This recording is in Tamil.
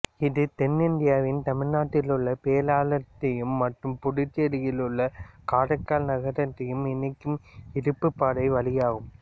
இது தென்னிந்தியாவின் தமிழ்நாட்டிலுள்ள பேரளத்தையும் மற்றும் புதுச்சேரியிலுள்ள காரைக்கால் நகரத்தையும் இணைக்கும் இருப்புப்பாதை வழியாகும்